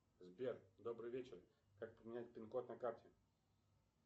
сбер добрый вечер как поменять пин код на карте